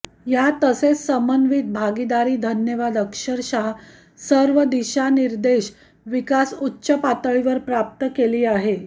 या तसेच समन्वित भागीदारी धन्यवाद अक्षरशः सर्व दिशानिर्देश विकास उच्च पातळी प्राप्त केली आहे